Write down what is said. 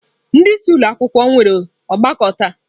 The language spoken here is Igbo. Ndị isi ụlọ akwụkwọ nwere ọgbakọ taa.